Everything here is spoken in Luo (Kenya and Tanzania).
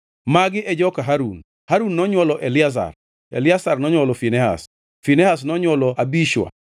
Magi e joka Harun: Harun nonywolo Eliazar, Eliazar nonywolo Finehas, Finehas nonywolo Abishua,